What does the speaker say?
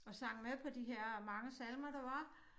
Og sang med på de her mange salmer der var